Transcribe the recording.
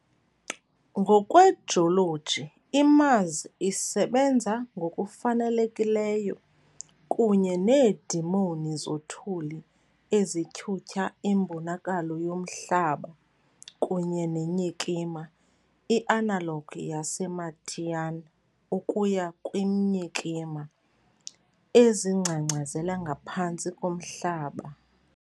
Ngokwejoloji, iMars isebenza ngokufanelekileyo, kunye needemoni zothuli ezityhutyha imbonakalo yomhlaba kunye neenyikima, i-analog yaseMartian ukuya kwiinyikima, ezingcangcazela ngaphantsi komhlaba.